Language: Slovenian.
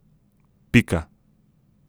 Pika.